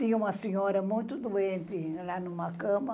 Tinha uma senhora muito doente lá numa cama,